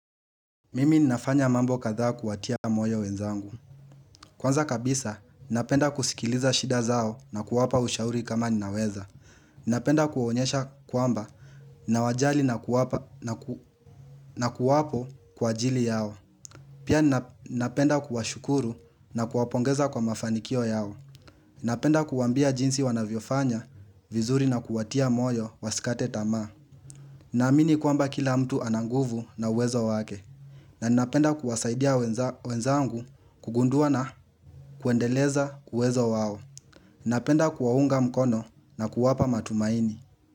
Mimi ninafanya mambo kadhaa kuwatia moyo wenzangu Kwanza kabisa, ninapenda kusikiliza shida zao na kuwapa ushauri kama ninaweza Ninapenda kuwaonyesha kwamba, ninawajali na kuwapo kwa ajili yao Pia ninapenda kuwashukuru na kuwapongeza kwa mafanikio yao Ninapenda kuwaambia jinsi wanavyofanya vizuri na kuwatia moyo wasikate tama Naamini kwamba kila mtu ana nguvu na uwezo wake na ninapenda kuwasaidia wenzangu kugundua na kuendeleza uwezo wao. Ninapenda kuwaunga mkono na kuwapa matumaini.